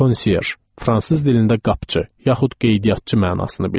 Konsyerj fransız dilində qapıçı, yaxud qeydiyyatçı mənasını bildirir.